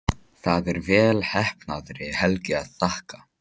Það er vel heppnaðri helgi að þakka.